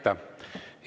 Aitäh!